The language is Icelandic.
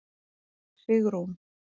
Sigrún